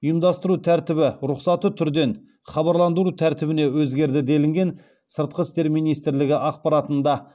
ұйымдастыру тәртібі рұқсаты түрден хабарландыру тәртібіне өзгерді делінген сыртқы істер минимтрлігі ақпаратында